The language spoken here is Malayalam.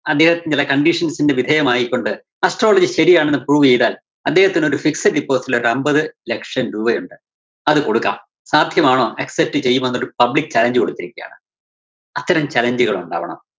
അദ്ദേഹത്തിന്റെ ചില conditions ന് വിധേയമായിക്കൊണ്ട് astrology ശരിയാണെന്ന് prove ചെയ്‌താല്‍, അദ്ദേഹത്തിനൊരു fixed deposit ല്‍ ഒരു അമ്പത് ലക്ഷം രൂപയൊണ്ട് അത് കൊടുക്കാം. സാധ്യമാണോ? accept ചെയ്യുമോന്നൊരു public challenge കൊടുത്തിരിക്കയാണ്. അത്തരം challenge കള്‍ ഉണ്ടാവണം.